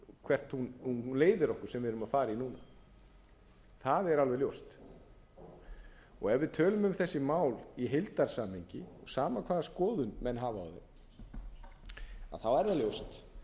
sú vegferð leiðir okkur sem við erum að fara í núna það er alveg ljóst ef við tölum um þessi mál í heildarsamhengi sama hvaða skoðun menn hafa á þeim er það ljóst